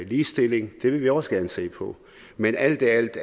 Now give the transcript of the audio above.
ligestilling og det vil vi også gerne se på men alt i alt